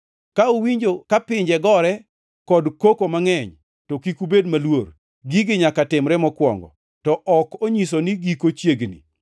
Ka uwinjo ka pinje gore kod koko mangʼeny, to kik ubed maluor. Gigi nyaka timre mokwongo, to ok onyiso ni giko chiegni.”